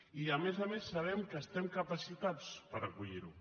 i a més a més sabem que estem capacitats per acollir ho